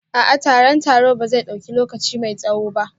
A'a, taron taro ba zai dauki lokaci mai tsawo ba